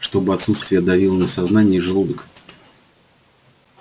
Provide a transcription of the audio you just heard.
чтобы отсутствие давило на сознание и желудок